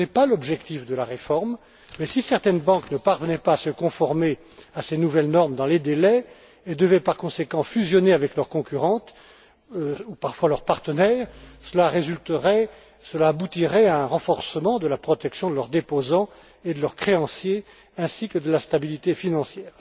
ce n'est pas l'objectif de la réforme, mais si certaines banques ne parvenaient pas à se conformer à ces nouvelles normes dans les délais et devaient par conséquent fusionner avec leurs concurrentes, ou parfois leurs partenaires, cela aboutirait à un renforcement de la protection de leurs déposants et de leurs créanciers ainsi que de la stabilité financière.